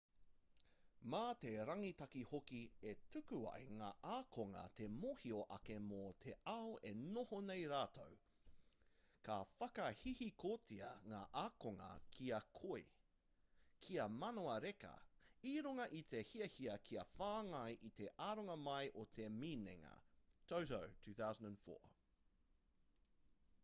mā te rangitaki hoki e tuku ai ngā ākonga te mōhio ake mō te ao e noho nei rātou. ka whakahihikotia ngā ākonga kia koi kia manawa reka i runga i te hiahia kia whāngai i te aronga mai o te minenga toto 2004